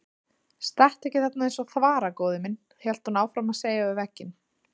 Stattu ekki þarna eins og þvara góði minn, hélt hún áfram að segja við vegginn.